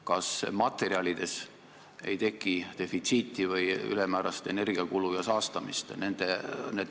Kas ei teki materjalide defitsiiti või ülemäärast energiakulu ja saastamist?